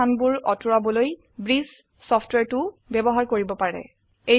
খালি স্থান বোৰ অতৰুৱাবলৈ ব্ৰিছ সফ্টওয়্যাৰটোউ বয়ৱহাৰ কৰিব পাৰে